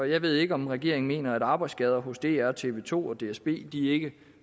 jeg ved ikke om regeringen mener at arbejdsskader hos dr og tv to og dsb ikke